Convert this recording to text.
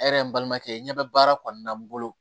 E yɛrɛ n balimakɛ ɲɛ bɛ baara kɔnɔna na n bolo